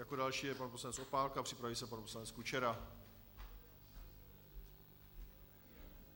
Jako další je pan poslanec Opálka, připraví se pan poslanec Kučera.